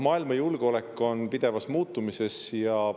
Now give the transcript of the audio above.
Maailma julgeolek on pidevas muutumises.